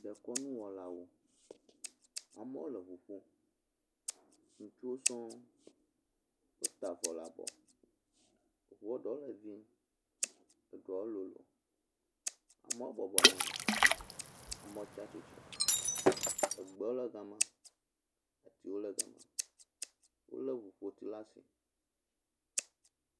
dekɔŋu wɔlawo amowo le ʋu ƒom sukuwo sɔŋ wo da vɔ la bɔ ʋuɔ ɖó le vĩ eɖɔwo lolo amowo bɔbɔ nɔnyi eɖewo tsatsitre egbewo le gama atiwo le gama wóle ʋuƒoti lasi